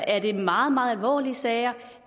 er det meget meget alvorlige sager